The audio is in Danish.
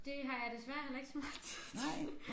Det har jeg desværre heller ikke så meget tid til